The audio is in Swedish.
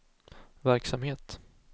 verksamhet